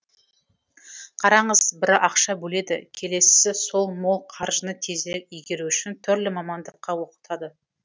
қараңыз бірі ақша бөледі келесісі сол мол қаржыны тезірек игеру үшін түрлі мамандыққа оқытады